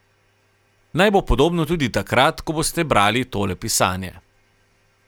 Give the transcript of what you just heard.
Naj bo podobno tudi takrat, ko boste brali tole pisanje.